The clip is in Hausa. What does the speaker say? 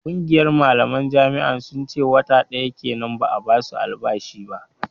Ƙungiyar malaman jami'an sun ce wata ɗaya kenan ba a ba su albashi ba